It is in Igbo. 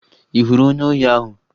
Ị hụrụ onye ohi ahụ?